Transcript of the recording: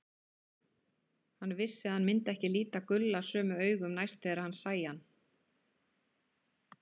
Hann vissi að hann myndi ekki líta Gulla sömu augum næst þegar hann sæi hann.